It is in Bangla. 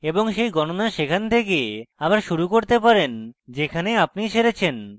এবং সেই গনণা সেখান থেকে আবার শুরু করতে পারেন যেখানে আপনি ছেড়েছেন